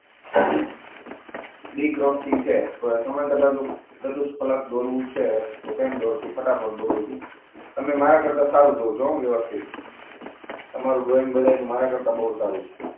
બી ક્રોસી છે ચતુષ્ફલક દોરવો છે ફટાફટ દોરું છું તમે મારા કરતાં સારું દોરજો વ્યવસ્થિત. તમારું ડ્રોઈંગ મારા કરતાં બધાનું બહુ સારું છે.